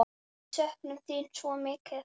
Við söknum þín svo mikið.